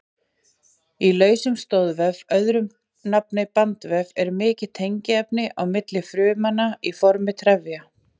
Í lausum stoðvef, öðru nafni bandvef, er mikið tengiefni á milli frumnanna í formi trefja.